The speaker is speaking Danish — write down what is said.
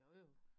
Jo jo